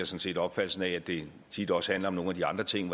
set opfattelsen af at det tit også handler om nogle af de andre ting